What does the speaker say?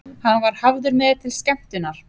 Hann var hafður með til skemmtunar.